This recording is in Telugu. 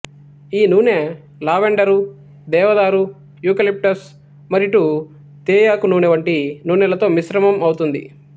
ఈ నూనె లావెండరు దేవదారు యూకలిప్టస్ మరిటు తేయాకు నూనె వంటి నూనెలతో మిశ్రమం అవుతుంది